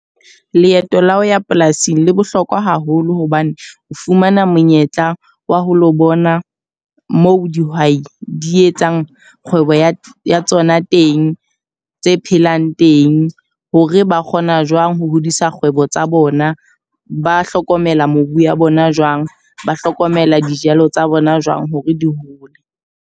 Leeto la ho ya polasing le bohlokwa haholo hobane o fumana monyetla wa ho lo bona moo dihwai di etsang kgwebo ya tsona teng, tse phelang teng. Hore ba kgona jwang ho hodisa kgwebo tsa bona, ba hlokomela mobu ya bona jwang. Ba hlokomela dijalo tsa bona jwang hore di hole.